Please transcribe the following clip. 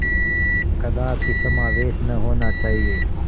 कदापि समावेश न होना चाहिए